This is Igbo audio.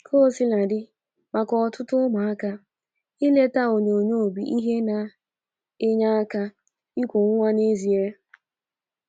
Kaosiladị maka ọtụtụ ụmụaka, ileta onyonyo bụ ihe na - enye aka iku nwa n’ezie.